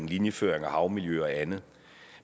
linjeføring og havmiljø og andet